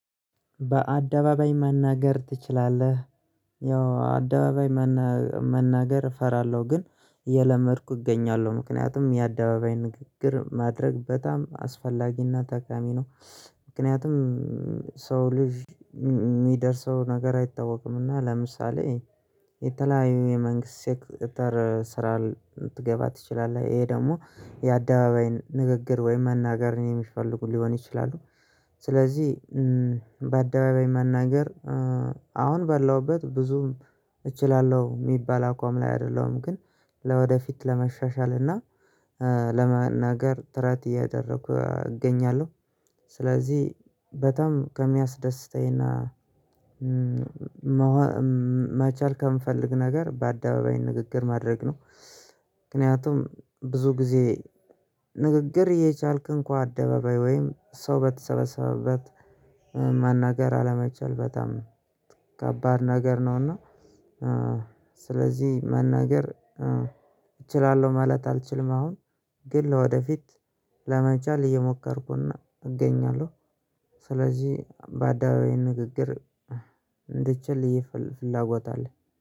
በአደባባይ መናገር ትችላለህ? ያው አደባባይ መናገር እፈራለሁ ግን እየለመድኩ እገኛለሁ ምክንያቱም የአደባባይ ንግግር ማድረግ በጣም አስፈላጊና ጠቃሚ ነው። ምክንያቱም ሰው ልጅ የሚደርሰው ነገር አይታወቅም እና ለምሳሌ የተለያዩ የመንግስት ሴክተር ስራ ልትገባ ትችላለህ ይሄ ደግሞ የአደባባይ ንግግር ወይም መናገርን የሚፈልጉ ሊሆን ይችላል። ስለዚህ በአደባባይ መናገር አሁን በላሁበት ብዙም እችላለሁ የሚባል አቋም ላይ አይደለሁም። ግን ለወደፊት ለመሻሻልና ለመናገር ጥረት እያደረኩ እገኛለሁ። ስለዚህ በጣም ከሚያስደስተኝና መቻል ከምንፈልግ ነገር በአደባባይ ንግግር ማድረግ ነው። ምክንያቱም ብዙ ጊዜ ንግግር እየቻልክ እንኳን አደባባይ ወይም ሰው በተሰበሰበበት መናገር አለመቻል በጣም ከባድ ነገር ነውና። ስለዚህ መናገር እችላለሁ ማለት አልችልም አሁን ግን ወደፊት ለመቻል እየሞከርኩና እገኛለሁ። ስለዚህ በአደባባይ ንግግር እንድችል ይሄ ፍላጎት አለ